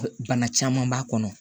Bana caman b'a kɔnɔ